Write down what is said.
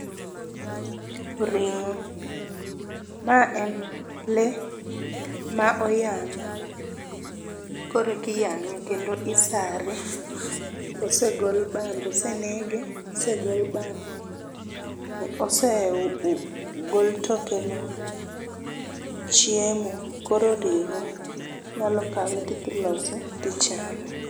Ring'o ma en lee ma oyang', koreki yang'e kendo isare osegol bambe osenege osegol bambe ose gol toke no chiemo koro ring'o. Inyalo kawe tidhi lose tichame.